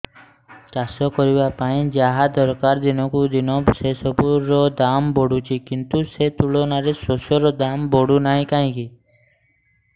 ଚାଷ କରିବା ପାଇଁ ଯାହା ଦରକାର ଦିନକୁ ଦିନ ସେସବୁ ର ଦାମ୍ ବଢୁଛି କିନ୍ତୁ ସେ ତୁଳନାରେ ଶସ୍ୟର ଦାମ୍ ବଢୁନାହିଁ କାହିଁକି